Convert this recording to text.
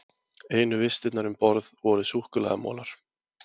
Einu vistirnar um borð voru súkkulaðimolar.